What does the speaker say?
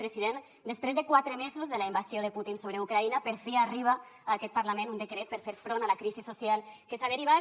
president després de quatre mesos de la invasió de putin sobre ucraïna per fi arriba a aquest parlament un decret per fer front a la crisi social que se n’ha derivat